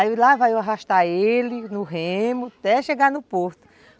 Aí lá vai eu arrastar ele no remo até chegar no porto.